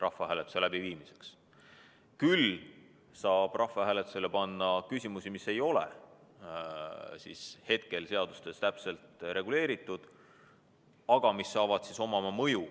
Küll aga saab rahvahääletusele panna küsimusi, mis ei ole hetkel seadustega täpselt reguleeritud.